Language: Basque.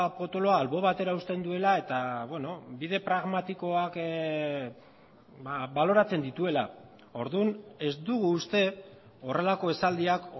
potoloa alde batera uzten duela eta bide pragmatikoak baloratzen dituela orduan ez dugu uste horrelako esaldiak